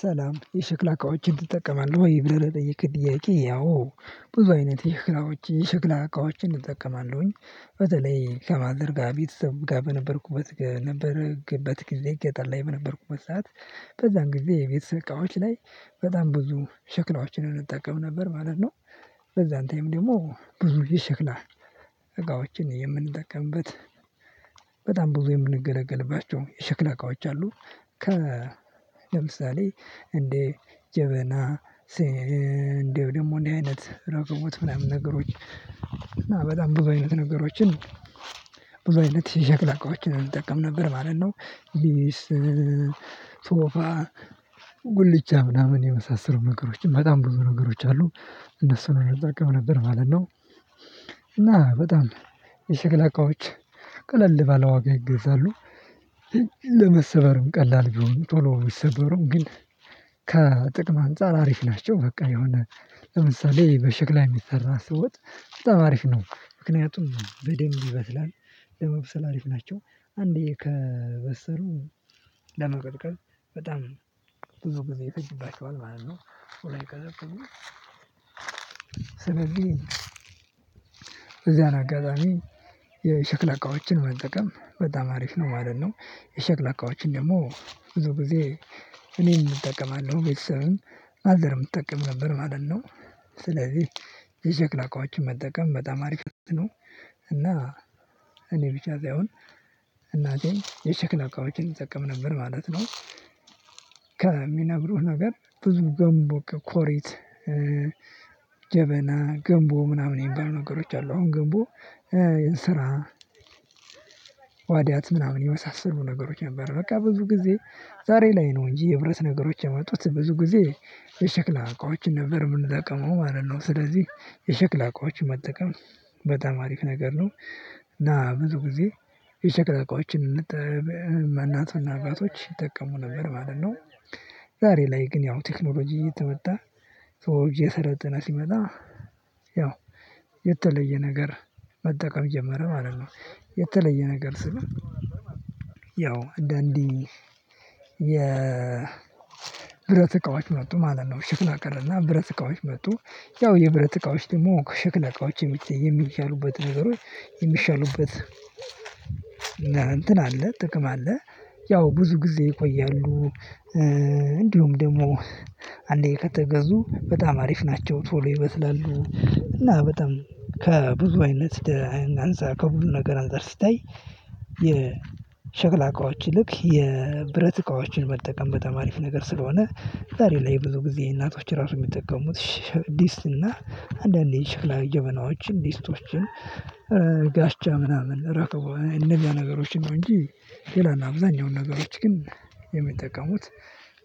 ሰላም የሸክላ እቃዎችን ትጠቀማለህ ወይ? ብለህ ለጠየቅከኝ ጥያቄ አዎ ብዙ አይነት የሸክላዎች የሸክላ እቃዎችን እጠቀማለሁኝ። በተለይ ከማዘር ጋር ቤተሰብ ጋር በነበርኩበት ነበርክበት ጊዜ ገጠር ላይ በነበርኩበት ሰዓት በዛን ጊዜ የቤተሰብ እቃዎች ላይ በጣም ብዙ ሽክላዎችን እንጠቀም ነበር ማለት ነው። በዛን ታይም ደግሞ ብዙ ጊዜ ሽክላ እቃዎችን የምንጠቀምበት በጣም ብዙ የምንገለገልባቸው የሽክላ እቃዎች አሉ። ከ ለምሳሌ እንዴ ጀበና እንዴው ደግሞ እንዴ አይነት ረከቦት ምናምን ነገሮች እና በጣም ብዙ አይነት ነገሮችን ብዙ አይነት የሸክላ አቅዎችን እንጠቀም ነበር ማለት ነው። ሊስ ሶፋ ጉልቻ ምናምን የመሳሰሉ ነገሮችን በጣም ብዙ ነገሮች አሉ እነሱን እንጠቀም ነበር ማለት ነው። እና በጣም የሸክላ እቃዎች ቀለል ባለዋጋ ይገዛሉ ለመሰበርም ቀላል ቢሆኑም ቶሎ ቢሰበሩም ግን ከጥቅም አንፃር አሪፍ ናቸው። በቃ የሆነ ለምሳሌ በሸክላ የሚሰራ ወጥ በጣም አሪፍ ነው። ምክንያቱም በደንብ ይበስላል ለመብሰል አሪፍ ናቸው አንዴ ከበሰሉ ለማቀዝቀዝ በጣም ብዙ ጊዜ ይፈጅባቸዋል ማለት ነው ቶሎ አይቀዘቅዙም። ስለዚህ እዚያን አጋጣሚ የሸክላ እቃዎችን መጠቀም በጣም አሪፍ ነው ማለት ነው። የሸክላ አቋማችን ደግሞ ብዙ ጊዜ እኔም እጠቀማለሁ ቤተሰብም ማዘርም ትጠቀም ነበር ማለት ነው። ስለዚህ የሸክላ እቃዎችን መጠቀም በጣም አሪፍ ነው እና እኔ ብቻ ሳይሆን እናቴም የሸክላ አቋዎችን ትጠቅም ነበር ማለት ነው። ከሚነግሩህ ነገር ብዙ ገንቦ ኮሬት ጀበና ገንቦ ምናምን የሚባሉ ነገሮች አሉ አሁን ገንቦ ስራ ዋድያት ምናምን የመሳሰሉ ነገሮች ነበሩ በቃ ብዙ ጊዜ ዛሬ ላይ ነው እንጂ የብረት ነገሮች የመጡት ብዙ ጊዜ የሸክላ አውቃዎችን ነበር የምንጠቀመው ማለት ነው። ስለዚህ የሸክላ እቃዎችን መጠቀም በጣም አሪፍ ነገር ነው እና ብዙ ጊዜ የሸክላ እቃዎች እናትና አባቶች ይጠቀሙ ነበር ማለት ነው። ዛሬ ላይ ግን ያው ቴክኖሎጂ እየተመጣ ሰው እየሰለጠነ ሲመጣ ያው የተለየ ነገር መጠቀም ጀመረ ማለት ነው። የተለየ ነገር ስልህ ያው አንዳንዴ የ ብረት እቃዎች መጡ ማለት ነው ሸክላ ቀረና ብረት እቃዎች መጡ። ያው የብረት እቃዎች ደግሞ ከሸክላ እቃዎች የሚተይ የሚሻሉበት ነገሮች የሚሻሉበት እንትን አለ ጥቅም አለ። ያው ብዙ ጊዜ ይቆያሉ እንዲሁም ደግሞ አንዴ ከተገዙ በጣም አሪፍ ናቸው ቶሎ ይበስላሉ። እና በጣም ከብዙ አይነት ደህና አንፃር ከብዙ ነገር አንፃር ሲታይ የሸክላ እቃዎች ይልቅ የብረት እቃዎችን መጠቀም በጣም አሪፍ ነገር ስለሆነ ዛሬ ላይ ብዙ ጊዜ እናቶች ራሱ የሚጠቀሙት። ዲስት እና አንዳንዴ የሸክላ ጀበናዎችን ደስቶችን ጋሽቻ ምናምን ራከበው እነዚህ ነገሮች ነው እንጂ ሌላና አብዛኛውን ነገሮች ግን የሚጠቀሙት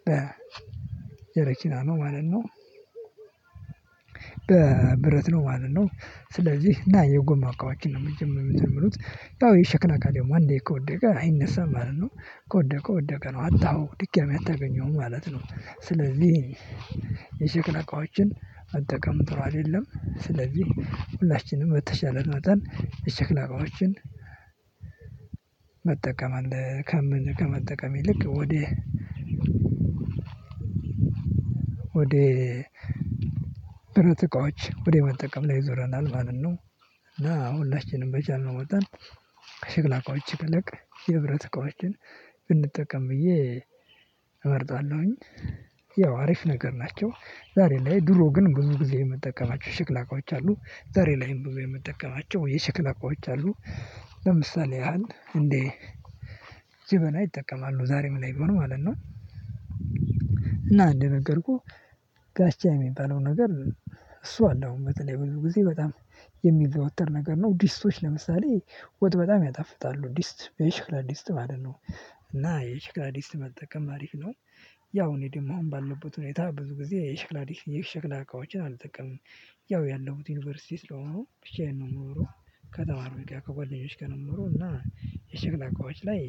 በ የረኪና ነው ማለት ነው በብረት ነው ማለት ነው። ስለዚህ እና የጎማ እቃዎችን ነው መጀመሪያ የተመሩት ያው የሸክላ እቃ አንዴ ከወደቀ አይነሳም ማለት ነው ከወደቀ ወደቀ ነው አጣኸው ድጋሚ አታገኘውም ማለት ነው። ስለዚህ የሸክላ እቃዎችን መጠቀም ጥሩ አይደለም ስለዚህ ሁላችንም በተቻለን መጠን የሸክላ እቃዎችን መጠቀም አለ ከመጠቀም ይልቅ ወዴ ወዴ ብረት እቃዎች ወደ መጠቀም ላይ ዞረናል ማለት ነው። እና ሁላችንም በቻልነው መጠን ከሽክላ እቃዎች ይልቅ የብረት እቃዎችን እንጠቀም ብዬ እመርጣለሁኝ። ያው አሪፍ ነገር ናቸው ዛሬ ላይ ድሮ ግን ብዙ ጊዜ የምጠቀማቸው የሸክላ እቃዎች አሉ ዛሬ ላይም ብዙ የምጠቀማቸው የሸክላ እቃዎች አሉ። ለምሳሌ ያህል እንዴ ጀበና ይጠቀማሉ ዛሬም ላይ ቢሆን ማለት ነው። እና እንደነገርኩህ ጋሽቻ የሚባለው ነገር እሱ አለው በተለይ ብዙ ጊዜ በጣም የሚዘወተር ነገር ነው ድስቶች ለምሳሌ ወጥ በጣም ያጣፍጣሉ ዲስት የሽክላ ዲስት ማለት ነው። እና የሽክላ ዲስት መጠቀም አሪፍ ነው ያው እኔ ደግሞ አሁን ባለሁበት ሁኔታ ብዙ ጊዜ የሸክላ የሸክላ እቃዎችን አልጠቀምም። ያው ያለውት ዩኒቨርሲቲ ስለሆኑ ብቻዬን ነው የምኖረው። ከተማሪ ጋር ከጓደኞች ጋር የምኖረው እና የሸክላ እቃዎች ላይ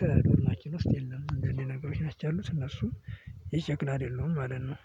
ከዶርማችን ውስጥ የለም እንደዚህ ነገሮች ናቸው ያሉት እነሱም የሸክላ አደሉም ማለት ነው።